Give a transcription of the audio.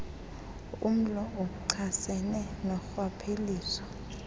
umlo ochasene norhwaphilizo